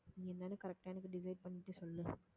நீ என்னன்னு correct ஆ எனக்கு decide பண்ணிட்டு சொல்லு